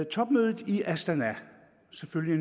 topmødet i astana har selvfølgelig